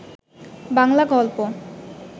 বাংলা গল্প